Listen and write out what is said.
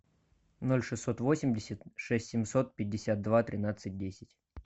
ноль шестьсот восемьдесят шесть семьсот пятьдесят два тринадцать десять